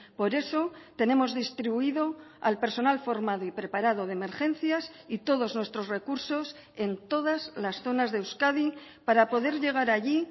por eso tenemos distribuido al personal formado y preparado de emergencias y todos nuestros recursos en todas las zonas de euskadi para poder llegar allí